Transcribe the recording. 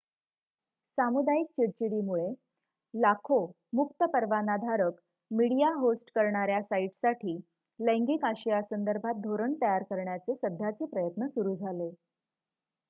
सामुदायिक चिडचिडीमुळे लाखो मुक्त परवानाधारक मीडिया होस्ट करणाऱ्या साइटसाठी लैंगिक आशयासंदर्भात धोरण तयार करण्याचे सध्याचे प्रयत्न सुरू झाले